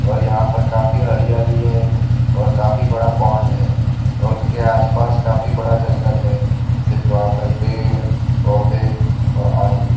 और यहाँ पर काफी हरियाली है और काफी बड़ा पोन्ड है और उसके आस पास काफी बड़ा जंगल है इस वहाँ पर पेड़ पोधै और आदि --